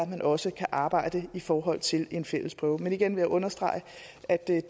man også kan arbejde i forhold til en fælles prøve men igen vil jeg understrege at det